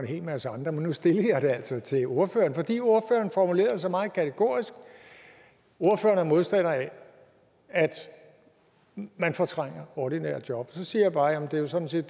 en hel masse andre men nu stillede jeg det altså til ordføreren fordi ordføreren formulerede sig meget kategorisk ordføreren er modstander af at man fortrænger ordinære job og så siger jeg bare at det jo sådan set